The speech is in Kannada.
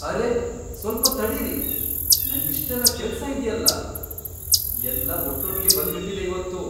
ಅರೇ ಸ್ವಲ್ಪ ತಡೀರಿ, ನಂಗಿಷ್ಟೆಲ್ಲ ಕೆಲ್ಸ ಇದ್ಯಲ್ಲ! ಎಲ್ಲ ಒಟ್ಟೊಟ್ಗೆ ಬಂದ್ಬಿಟಿದೆ ಇವತ್ತು!